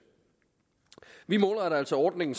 vi målretter altså ordningen